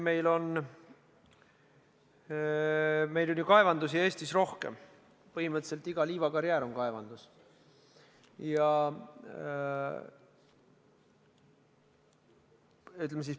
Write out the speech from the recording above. Meil on ju kaevandusi Eestis rohkem, põhimõtteliselt iga liivakarjäär on kaevandus.